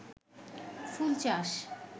ফুল চাষ